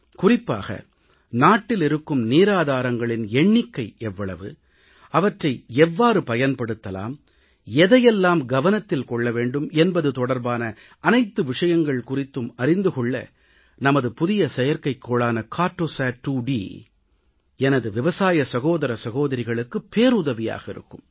குறிப்பாக நாட்டில் இருக்கும் நீராதாரங்களின் எண்ணிக்கை எவ்வளவு அவற்றை எவ்வாறு பயன்படுத்தலாம் எதையெல்லாம் கவனத்தில் கொள்ள வேண்டும் என்பது தொடர்பான அனைத்து விஷயங்கள் குறித்தும் அறிந்து கொள்ள நமது புதிய செயற்கைக்கோளான கார்ட்டோசாட் 2டி எனது விவசாய சகோதர சகோதரிகளுக்குப் பேருதவியாக இருக்கும்